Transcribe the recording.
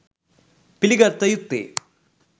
පිළිගත යුත්තේ